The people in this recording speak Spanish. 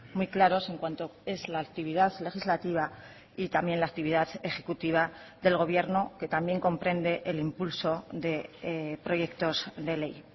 muy claros en cuanto es la actividad legislativa y también la actividad ejecutiva del gobierno que también comprende el impulso de proyectos de ley